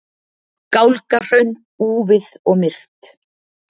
Gálgahraun, úfið og myrkt.